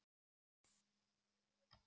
Ég ætla að fara heim.